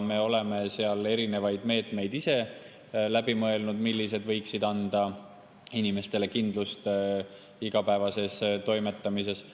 Me oleme erinevaid meetmeid ise läbi mõelnud, mis võiks anda inimestele kindlust igapäevases toimetamises.